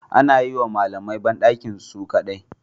Ana yiwa malamai bandakinsu su kadai